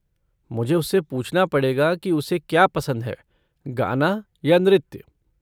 मुझे उससे पूछना पड़ेगा कि उसे क्या पसंद है, गाना या नृत्य।